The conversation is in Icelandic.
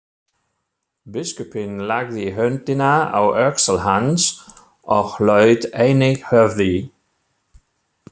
Biskupinn lagði höndina á öxl hans og laut einnig höfði.